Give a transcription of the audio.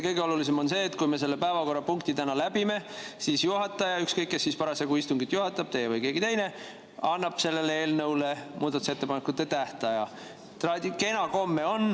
Kõige olulisem on see, et kui me selle päevakorrapunkti täna läbime, siis juhataja – ükskõik kes parasjagu istungit juhatab, teie või keegi teine – annab selle eelnõu kohta muudatusettepanekute tähtaja.